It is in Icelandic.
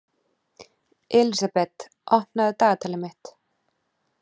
Elísabeth, opnaðu dagatalið mitt.